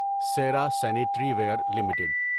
Sierra sanitary ware limited